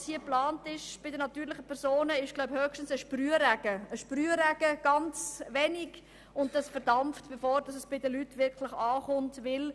Was hier geplant ist, ist jedoch höchstens ein kleiner Sprühstoss, der verdampft, bevor er bei den Leuten ankommt.